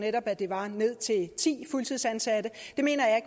netop at det var ned til ti fuldtidsansatte mener jeg